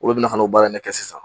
Olu bina ka n'o baara in ne kɛ sisan.